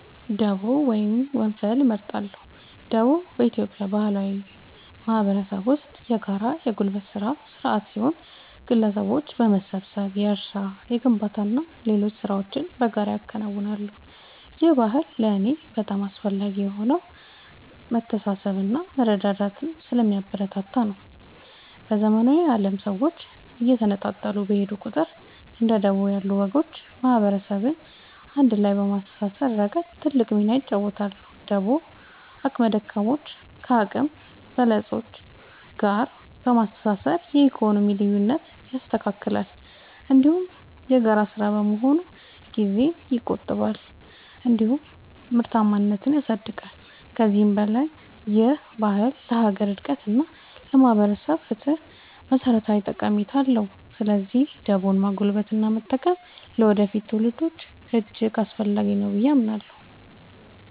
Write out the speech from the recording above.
ደቦ ወይም ወንፈል እመርጣለሁ። ደቦ በኢትዮጵያ ባህላዊ ማህበረሰብ ውስጥ የጋራ የጉልበት ሥራ ሥርዓት ሲሆን፣ ግለሰቦች በመሰባሰብ የእርሻ፣ የግንባታና ሌሎች ሥራዎችን በጋራ ያከናውናሉ። ይህ ባህል ለእኔ በጣም አስፈላጊ የሆነው መተሳሰብንና መረዳዳትን ስለሚያበረታታ ነው። በዘመናዊው ዓለም ሰዎች እየተነጣጠሉ በሄዱ ቁጥር፣ እንደ ደቦ ያሉ ወጎች ማህበረሰብን አንድ ላይ በማሰር ረገድ ትልቅ ሚና ይጫወታሉ። ደቦ አቅመ ደካሞችን ከአቅመ በለጾች ጋር በማስተባበር የኢኮኖሚ ልዩነትን ያስተካክላል፤ እንዲሁም የጋራ ሥራ በመሆኑ ጊዜን ይቆጥባል እንዲሁም ምርታማነትን ያሳድጋል። ከዚህም በላይ ይህ ባህል ለሀገር አንድነት እና ለማህበራዊ ፍትህ መሠረታዊ ጠቀሜታ አለው። ስለዚህ ደቦን ማጎልበትና መጠበቅ ለወደፊት ትውልዶች እጅግ አስፈላጊ ነው ብዬ አምናለሁ።